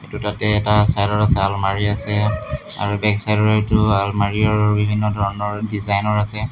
দুটাকে এটা ছাইডত আছে আলমাৰী আছে আৰু বেকছাইডৰ সেইটো আলমাৰী আৰু বিভিন্ন ধৰণৰ ডিজাইনৰ আছে।